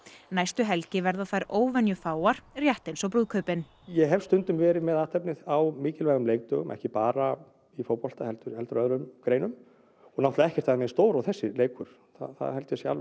næstu helgi verða þær óvenjufáar rétt eins og brúðkaupin ég hef stundum verið með athafnir á mikilvægum leikdögum ekki bara í fótbolta heldur heldur öðrum greinum og náttúrlega ekkert af þeim eins stór og þessi leikur það er alveg